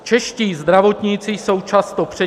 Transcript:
Čeští zdravotníci jsou často přetíženi -